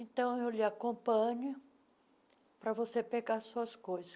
Então, eu lhe acompanho para você pegar suas coisas.